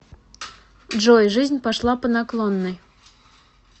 джой жизнь пошла по наклонной